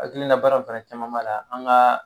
hakilina baara fɛnɛ caman b'a la an ga